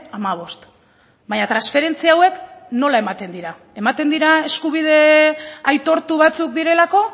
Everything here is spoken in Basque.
hamabost baina transferentzia hauek nola ematen dira ematen dira eskubide aitortu batzuk direlako